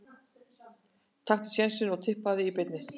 Taktu sénsinn og Tippaðu í beinni.